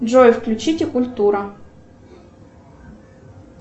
джой включите культура